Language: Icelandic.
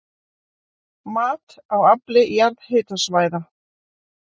Mat á afli jarðhitasvæða